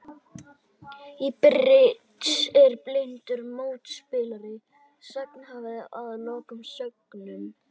Í bridds er blindur mótspilari sagnhafa að loknum sögnum.